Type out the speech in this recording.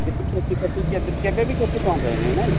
କିଛି କ୍ଷତି ଫ୍ୟତି କେବେ କେବେ ବି କ୍ଷତି ପହଞ୍ଚାଇ ନାଇ, ନାଇ କି?